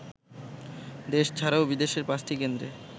দেশ ছাড়াও বিদেশের পাঁচটি কেন্দ্রে